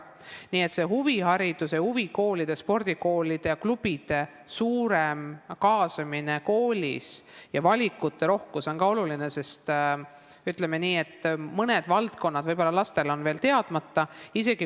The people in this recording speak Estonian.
Nii et see huvihariduse, huvikoolide, spordikoolide ja -klubide suurem kaasamine koolis ja valikute rohkus on ka oluline, sest mõned valdkonnad võivad olla lastele veel teadmata.